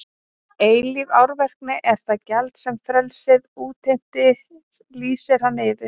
Eilíf árvekni er það gjald sem frelsið útheimtir lýsti hann yfir.